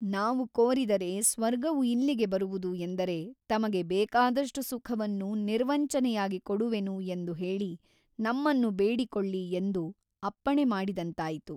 ನಾವು ಕೋರಿದರೆ ಸ್ವರ್ಗವು ಇಲ್ಲಿಗೆ ಬರುವುದು ಎಂದರೆ ತಮಗೆ ಬೇಕಾದಷ್ಟು ಸುಖವನ್ನು ನಿರ್ವಂಚನೆಯಾಗಿ ಕೊಡುವೆನು ಎಂದು ಹೇಳಿ ನಮ್ಮನ್ನು ಬೇಡಿಕೊಳ್ಳಿ ಎಂದು ಅಪ್ಪಣೆ ಮಾಡಿದಂತಾಯಿತು.